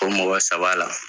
O mɔgɔ saba la